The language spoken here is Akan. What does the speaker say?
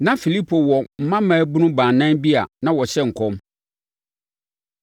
Na Filipo wɔ mma mmaabunu baanan bi a na wɔhyɛ nkɔm.